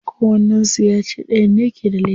Kowannen su ya ce dayan ne ke da laifi.